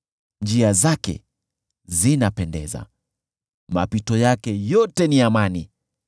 Njia zake zinapendeza, mapito yake yote ni amani.